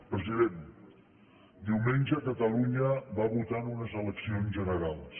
president diumenge catalunya va votar en unes eleccions generals